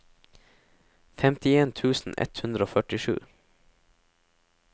femtien tusen ett hundre og førtisju